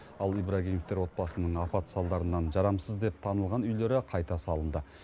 ал ибрагимовтер отбасының апат салдарынан жарамсыз деп танылған үйлері қайта салынды